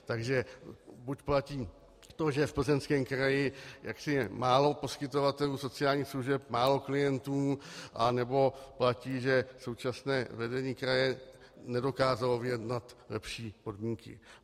Takže buď platí to, že v Plzeňském kraji je málo poskytovatelů sociálních služeb, málo klientů, anebo platí, že současné vedení kraje nedokázalo vyjednat lepší podmínky.